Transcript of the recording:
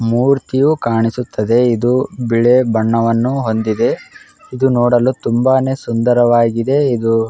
ಮೂರ್ತಿಯು ಕಾಣಿಸುತ್ತಿದೆ. ಇದು ಬಿಳಿ ಬಣ್ಣವನ್ನು ಹೊಂದಿದೆ. ಇದು ನೋಡಲು ತುಂಬಾನೇ ಸುಂದರವಾಗಿದೆ. ಇದು --